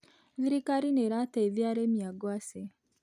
Thirikari nĩĩrateithia arĩmi a ngwacĩ.